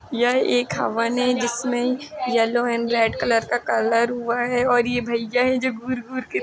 यह एक हवन है जिसमें येलो एंड रेड कलर का कलर हुआ है और ये भइया हैं जो घूर-घूर के --